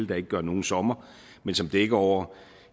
der ikke gør nogen sommer men som dækker over